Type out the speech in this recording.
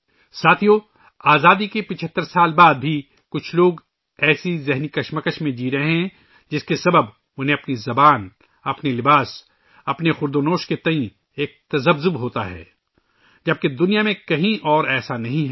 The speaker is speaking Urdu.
ساتھیو، آزادی کے 75 سال بعد بھی کچھ لوگ ایسی ذہنی کشمکش میں جی رہے ہیں ، جس کی وجہ سے انہیں اپنی زبان، اپنے لباس، اپنے کھانے پینے کے بارے میں ہچکچاہٹ کا سامنا ہے، جب کہ دنیا میں ایسا کہیں نہیں ہے